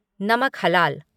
नमक हलाल